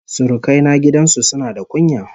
Surukai na gidan su suna da kunya